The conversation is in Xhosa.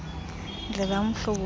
ndlela umhlobo wam